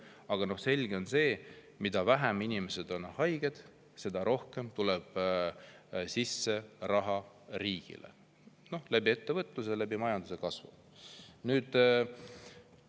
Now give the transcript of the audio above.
Aga selge on see, et mida vähem inimesed on haiged, seda rohkem tuleb riigile ettevõtluse ja majanduskasvu kaudu raha.